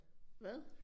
Hvad?